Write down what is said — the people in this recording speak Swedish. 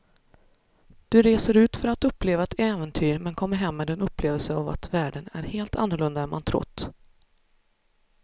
Du reser ut för att uppleva ett äventyr men kommer hem med en upplevelse av att världen är helt annorlunda än man trott.